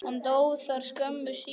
Hann dó þar skömmu síðar.